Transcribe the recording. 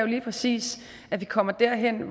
lige præcis at vi kommer derhen